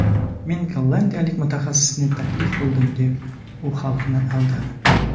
Men gollandiyalik mutaxassisni taklif qildim deb, u xalqni aldadi.